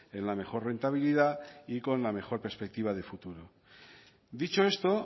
en la mejor rentabilidad y con la mejor perspectiva de futuro dicho esto